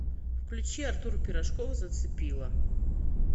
включи артур пирожков зацепила